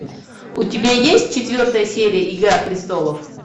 у тебя есть четвертая серия игра престолов